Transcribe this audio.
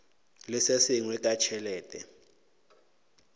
le se sengwe ka tšhelete